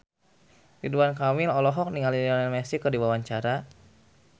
Ridwan Kamil olohok ningali Lionel Messi keur diwawancara